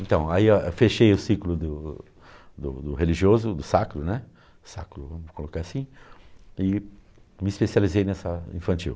Então, aí ah fechei o ciclo do do do religioso, do sacro, né, sacro, vamos colocar assim, e me especializei nessa infantil.